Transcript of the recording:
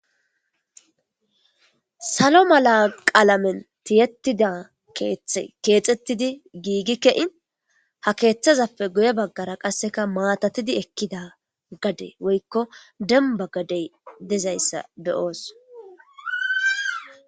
Salo mala qaalamen tiyettida keexettidi giigi ke'in ha keeththazappe guye baggara qasseka maatatidi ekkida gade woykko demba gadey dezayssa beyooso.